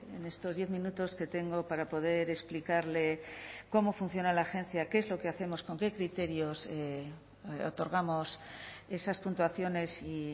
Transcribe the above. en estos diez minutos que tengo para poder explicarle cómo funciona la agencia qué es lo que hacemos con qué criterios otorgamos esas puntuaciones y